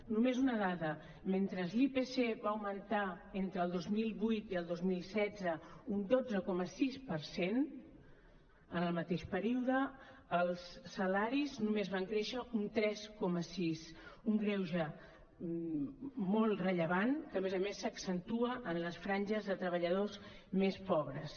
només una dada mentre l’ipc va augmentar entre el dos mil vuit i el dos mil setze un dotze coma sis per cent en el mateix període els salaris només van créixer un tres coma sis un greuge molt rellevant que a més a més s’accentua en les franges de treballadors més pobres